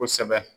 Kosɛbɛ